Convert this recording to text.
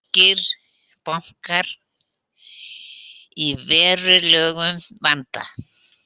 Írskir bankar í verulegum vanda